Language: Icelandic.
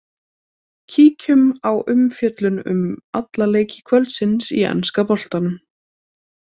Kíkjum á umfjöllun um alla leiki kvöldsins í enska boltanum.